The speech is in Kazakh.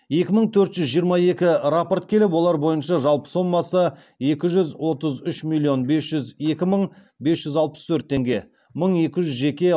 екі мың төрт жүз жиырма екі рапорт келіп олар бойынша жалпы сомасы екі жүз отыз үш миллион бес жүз екі мың бес жүз алпыс төрт теңге мың екі жүз жеке